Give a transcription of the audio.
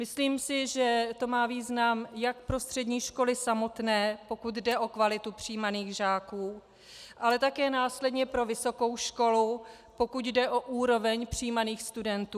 Myslím si, že to má význam jak pro střední školy samotné, pokud jde o kvalitu přijímaných žáků, ale také následně pro vysokou školu, pokud jde o úroveň přijímaných studentů.